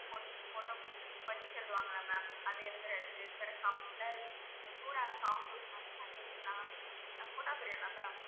photo போடுறது. ma'am அதை எழுதுறது, வேற cup ல அஹ் சூடான coffee ஊத்துனா, இல்ல தண்ணி ஊத்தனா photo ma'am